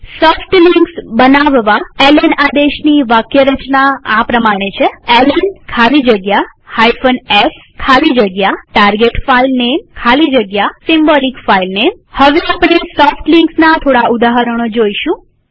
soft links બનાવવા LN આદેશની વાક્યરચના આ પ્રમાણે છે160 એલએન ખાલી જગ્યા s ખાલી જગ્યા target filename ખાલી જગ્યા symbolic filename હવે આપણે સોફ્ટ લિંક્સ ના થોડા ઉદાહરણો જોઈશું